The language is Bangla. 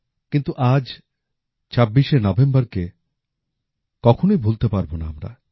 কিন্তু আজ ২৬শে নভেম্বরকে কখনই ভুলতে পারব না আমরা